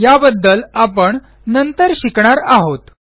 याबद्दल आपण नंतर शिकणार आहोत